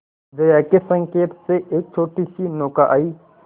जया के संकेत से एक छोटीसी नौका आई